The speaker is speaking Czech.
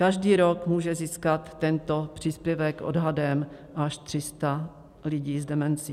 Každý rok může získat tento příspěvek odhadem až 300 lidí s demencí.